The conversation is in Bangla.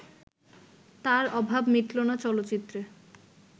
তার অভাব মিটলো না চলচ্চিত্রে